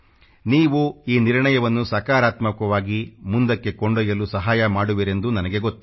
ನೀವು ಈ ನಿರ್ಣಯವನ್ನು ಸಕಾರಾತ್ಮಕವಾಗಿ ಮುಂದಕ್ಕೆ ಕೊಂಡೊಯ್ಯಲು ಸಹಾಯ ಮಾಡುವಿರೆಂದು ನನಗೆ ಗೊತ್ತು